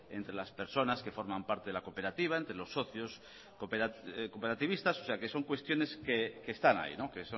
entre las personas que forman parte de la cooperativa entre los socios cooperativistas son cuestiones que están ahí que